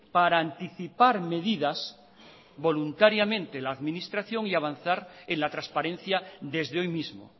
para anticipar medidas voluntariamente la administración y avanzar en la transparencia desde hoy mismo